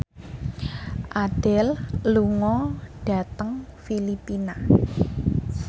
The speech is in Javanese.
Adele lunga dhateng Filipina